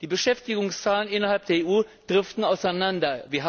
Die Beschäftigungszahlen innerhalb der EU driften auseinander.